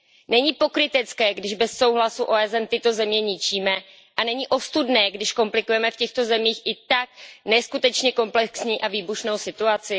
Není pokrytecké, když bez souhlasu OSN tyto země ničíme a není ostudné, když komplikujeme v těchto zemích i tak neskutečně komplexní a výbušnou situaci?